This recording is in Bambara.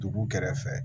Dugu kɛrɛfɛ